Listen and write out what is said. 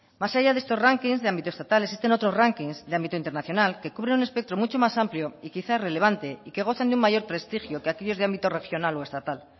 más allá de estos rankings de ámbito estatal existen otros rankings de ámbito internacional que cubren un espectro mucho más amplio y quizá relevante y que gozan de un mayor prestigio que aquellos de ámbito regional o estatal